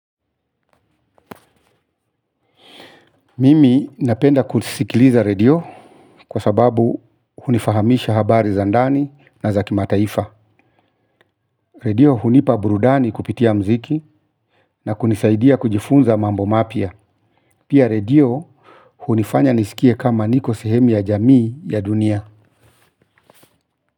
Mimi napenda kusikiliza radio kwa sababu hunifahamisha habari za ndani na za kimataifa. Radio hunipa burudani kupitia muziki na kunisaidia kujifunza mambo mapya. Pia radio hunifanya nisikie kama niko sehemu ya jamii ya dunia.